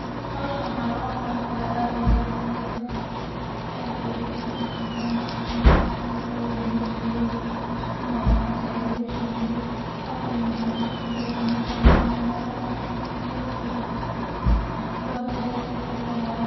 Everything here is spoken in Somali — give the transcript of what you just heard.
Hawshan waxaa loo qawan kaaa aad ayeey u fududedahay ,ee meshan waxaan ku arkaa wax ayaa lagu shiiday aad ayuu u fiican yahay inaba caadi maahan aad ayuu u qurux badan yahay .